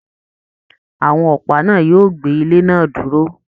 Àwọn ọpa náà yóò gbé ilé náà dúró.